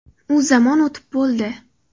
U zamon o‘tib bo‘ldi.